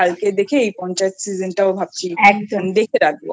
কালকে দেখি এই পঞ্চায়েত Season টাও ভাবছি দেখে রাখবো